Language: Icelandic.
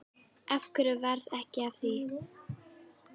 Af hverju varð ekki af því?